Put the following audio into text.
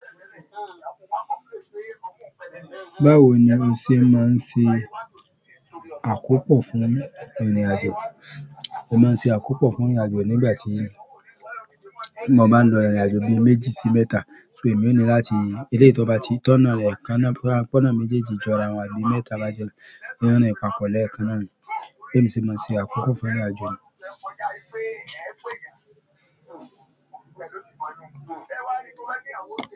Báwo ni o ṣe máa ń ṣe àkópọ̀ fún ìrìnàjò? Mo máa ń ṣe àkópò fún ìrìnàjò nígbà tí mo bá ń lọ ìrìnàjò bíi méjì sí mẹ́ta. So, èmi ó ní láti eléyìí tó bá ti tọ́nà rẹ kanáà pọ́nà méjèèjì jọra àbí mẹ́ta bá jọra, rìn-ín papọ̀ lẹ́ẹ̀kan náà ni. Èmi sì máa ń ṣe àkópò fún ìrìnàjò náà.